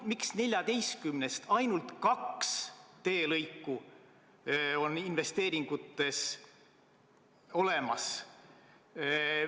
Miks 14-st ainult kaks teelõiku on investeeringutes olemas?